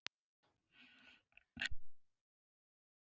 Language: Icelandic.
Agða, hvað er opið lengi í Tíu ellefu?